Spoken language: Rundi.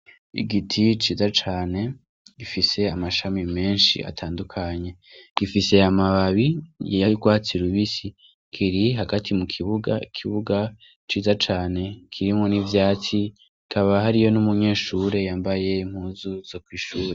Igiti ciza cane gifise amashami menshi atandukanye gifise amababi yiyarwatsirubisi kiri hagati mu kibuga kibuga ciza cane kirimwo n'ivyatsi kaba hariyo n'umunyeshure yambaye muzuzo kw'ishura.